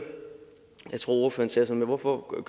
hvorfor man